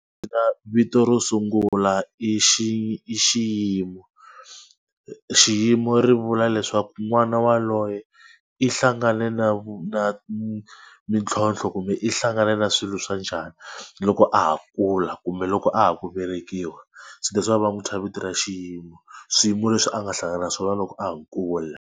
vito ro sungula i i Xiyimo. Xiyimo ri vula leswaku n'wana waloye i hlangane na na mintlhlonthlo kumbe i hlangane na swilo swa njhani loko a ha kula kumbe loko a ha ku velekiwa. So that is why va n'wi thya vito ra Xiyimo. Swiyimo leswi a nga hlangana na swona loko a ha kula.